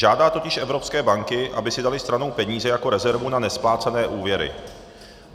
Žádá totiž evropské banky, aby si daly stranou peníze jako rezervu na nesplácené úvěry.